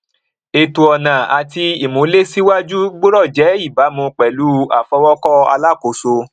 ètò ọnà àti ìmúlèsíwájú gbọdọ jẹ ìbámu pẹlú àfọwọkọ alákòóso